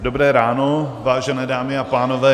Dobré ráno, vážené dámy a pánové.